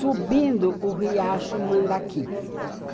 Subindo o riacho Mandaki.